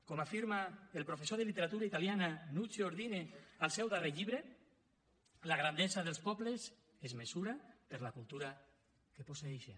com afirma el professor de literatura italiana nuccio ordine al seu darrer llibre la grandesa dels pobles es mesura per la cultura que posseeixen